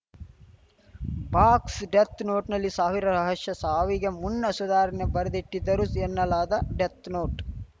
ಬಾಕ್ಸ್‌ಡೆತ್‌ನೋಟ್‌ನಲ್ಲಿ ಸಾವಿರ ರಹಶ್ಯ ಸಾವಿಗೆ ಮುನ್ನ ಸುಧಾರಣಿ ಬರೆದಿಟ್ಟಿದ್ದರು ಎನ್ನಲಾದ ಡೆತ್‌ನೋಟ್‌